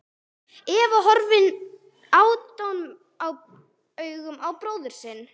Eva horfir aðdáunaraugum á bróður sinn.